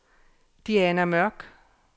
Diana Mørch